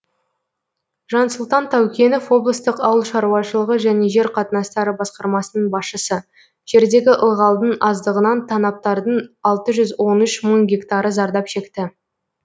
жансұлтан таукенов облыстық ауыл шаруашылығы және жер қатынастары басқармасының басшысы жердегі ылғалдың аздығынан танаптардың алты жүз он үш мың гектары зардап шекті